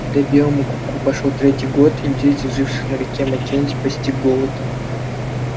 когда белому клыку пошёл третий год индейцев живших на реке маккензи постиг голод